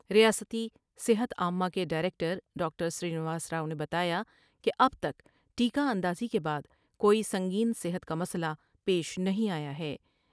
ریاستی صحت عامہ کے ڈائرکٹر ڈاکٹر سرینواس راؤ نے بتایا کہ اب تک ٹیکہ اندازی کے بعد کوئی سنگین صحت کا مسئلہ پیش نہیں آیا ہے ۔